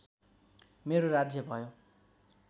मेरो राज्य भयो